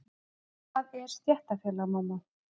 Hvað er stéttarfélag, mamma?